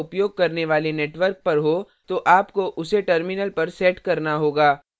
यदि आप proxy का उपयोग करने वाले network पर हो तो आपको उसे terminal पर set करना होगा